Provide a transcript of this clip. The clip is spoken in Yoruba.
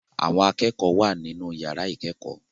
Àwọn akẹ́kọ̀ọ́ wà nínú ìyàrá ìkẹ́kọ̀ọ́.